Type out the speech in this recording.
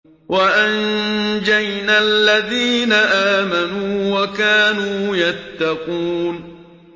وَأَنجَيْنَا الَّذِينَ آمَنُوا وَكَانُوا يَتَّقُونَ